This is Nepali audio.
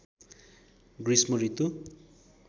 गृष्म ऋतु